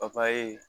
papaye